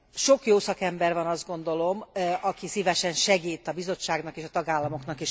Sok jó szakember van azt gondolom, aki szívesen segít a Bizottságnak és a tagállamoknak is ebben.